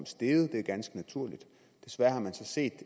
steget det er ganske naturligt desværre har man så set